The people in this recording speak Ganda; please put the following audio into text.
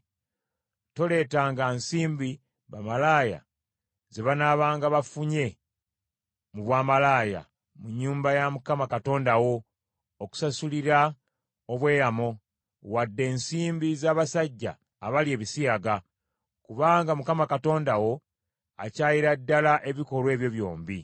Toleetanga nsimbi, bamalaaya ze banaabanga bafunye mu bwamalaaya, mu nnyumba ya Mukama Katonda wo okusasulira obweyamo, wadde ensimbi z’abasajja abalya ebisiyaga; kubanga Mukama Katonda wo akyayira ddala ebikolwa ebyo byombi.